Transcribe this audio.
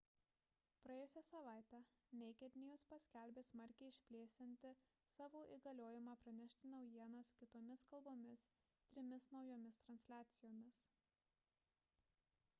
praėjusią savaitę naked news paskelbė smarkiai išplėsianti savo įgaliojimą pranešti naujienas kitomis kalbomis trimis naujomis transliacijomis